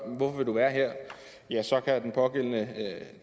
hvorfor man vil være her ja så kan den pågældende